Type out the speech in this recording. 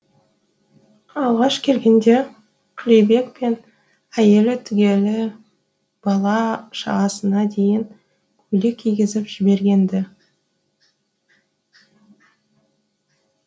алғаш келгенде қилыбек пен әйелі түгілі бала шағасына дейін көйлек кигізіп жіберген ді